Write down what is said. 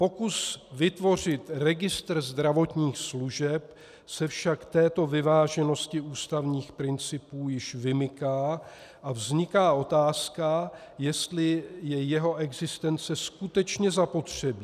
Pokus vytvořit registr zdravotních služeb se však této vyváženosti ústavních principů již vymyká a vzniká otázka, jestli je jeho existence skutečně zapotřebí.